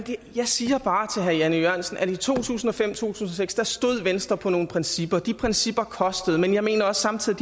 jeg siger bare til herre jan e jørgensen at i to tusind og fem tusind og seks stod venstre på nogle principper de principper kostede men jeg mener samtidig